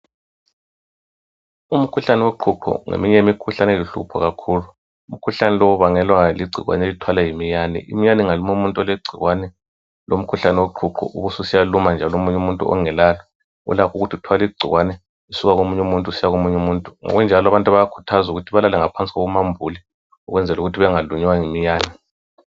Umkhuhlane woqhuqho ngomunye wemkhuhlane eluhlupho kakhulu. Umkhuhlane lowu ubangelwa ligcikwane elithwalwa yi miyane. Imiyane ingaluma umuntu olegcikwane lo mkhuhlane woqhuqho ,ubususiya luma njalo omunye umuntu ongelalo, ulakho ukuthi uthwale igcikwane, lisuka komuny' umuntu lisiya komuny' umuntu. Kunjalo abantu bayakhuthazwa ukuthi balale ngaphansi komambule, ukwenzel' ukuthi bangalunywa yi miyane.